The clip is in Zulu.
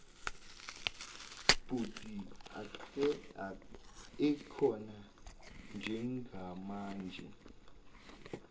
bhodi ekhona njengamanje